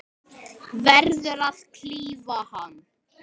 Verður að klífa hann.